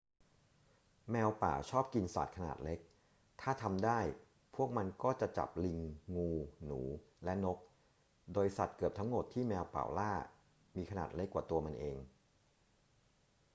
แมวป่าชอบกินสัตว์ขนาดเล็ก ถ้าทำได้พวกมันก็จะจับลิง งู หนู และนก โดยสัตว์เกือบทั้งหมดที่แมวป่าล่ามีขนาดเล็กกว่าตัวมันเอง